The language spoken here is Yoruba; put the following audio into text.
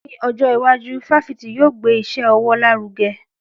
Ní ọjọ́ iwájú, fáfitì yóò gbé iṣẹ́ ọwọ́ lárugẹ.